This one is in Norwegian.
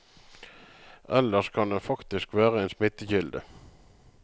Ellers kan den faktisk være en smittekilde.